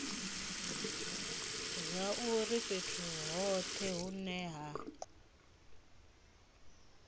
zwauri fhethu hothe hune ha